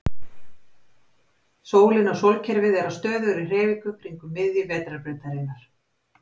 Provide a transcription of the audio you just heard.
Sólin og sólkerfið er á stöðugri hreyfingu kringum miðju Vetrarbrautarinnar.